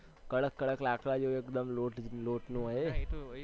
કડક કડક લાકડા જેવું હોય એક્દમ લોટ~લોટનું હોય એ